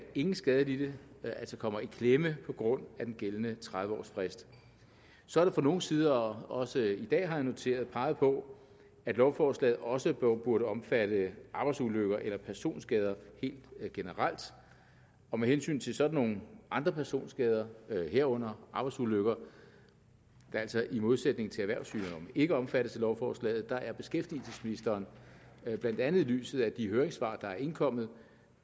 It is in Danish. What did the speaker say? ingen skadelidte kommer i klemme på grund af den gældende tredive års frist så er der fra nogles side også i dag har jeg noteret peget på at lovforslaget også burde omfatte arbejdsulykker eller personskader helt generelt med hensyn til sådan nogle andre personskader herunder arbejdsulykker der altså i modsætning til erhvervssygdomme ikke omfattes af lovforslaget er beskæftigelsesministeren blandt andet i lyset af de høringssvar der er indkommet